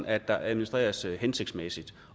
at der administreres hensigtsmæssigt